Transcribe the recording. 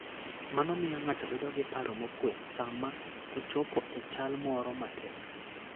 Mano miyo ng'ato bedo gi paro mokuwe sama ochopo e chal moro matek.